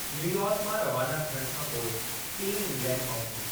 New York मां रवाना थियणु खां पोइ टीमु इंग्लैंड पहुती।